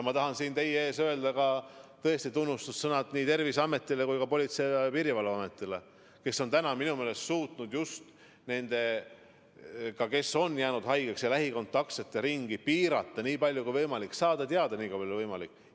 Ma tahan siin teie ees öelda tunnustussõnad nii Terviseametile kui ka Politsei- ja Piirivalveametile, kes on minu meelest suutnud haigestunute ja lähikontaktsete ringi piirata nii palju kui võimalik, saada teada nii palju kui võimalik.